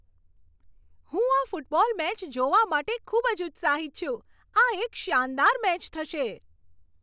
હું આ football match જોવા માટે ખૂબ જ ઉત્સાહિત છું! આ એક શાનદાર મેચ થશે.